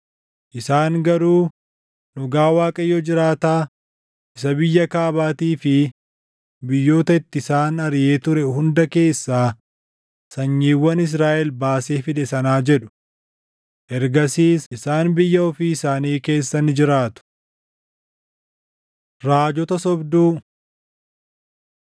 “Isaan garuu, ‘Dhugaa Waaqayyo jiraataa isa biyya Kaabaatii fi biyyoota itti isaan ariʼee ture hunda keessaa sanyiiwwan Israaʼel baasee fide sanaa’ jedhu. Ergasiis isaan biyya ofii isaanii keessa ni jiraatu.” Raajota Sobduu